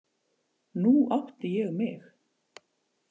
Nú átti ég mig.